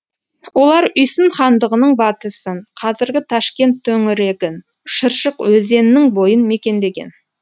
олар үйсін хандығының батысын қазіргі ташкент төңірегін шыршық өзеннің бойын мекендеген